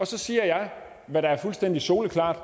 så siger jeg hvad der er fuldstændig soleklart